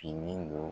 Fini don